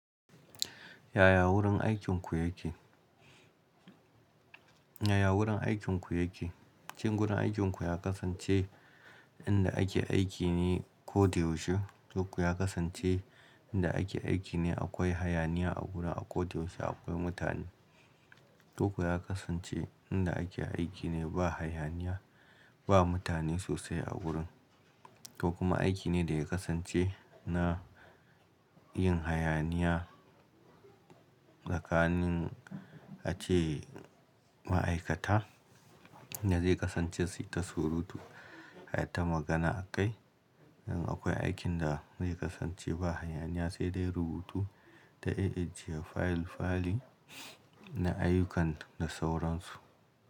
Yaya wurin aikinku yake? Yaya wurin aikinku yake? Shin wurin aikinku ya kasance inda ake aiki ne koyaushe? Ko kuwa ya kasance inda ake aiki ne akwai hayaniya a gurin a koyaushe akwai mutane? Ko kuwa ya kasance inda ake aiki ne ba hayaniya, ba mutane sosai a gurin? Ko kuma aiki ne da ya kasance na yin hayaniya tsakanin ace ma'aikata da zai kasance sai ta surutu har ta magana a kai? Nan akwai aikin da zai kasance ba hayaniya sai dai rubutu da ajiye fayil-fayil na ayyukan da sauransu.